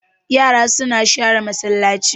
Yara suna sharan masallaci